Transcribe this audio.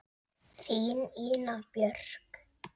Þín, Ína Björk.